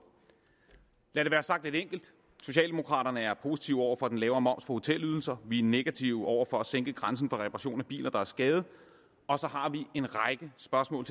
lad det være sagt lidt enkelt socialdemokraterne er positive over for den lavere moms på hotelydelser vi er negative over for at sænke grænsen for reparation af biler der er skadede og så har vi en række spørgsmål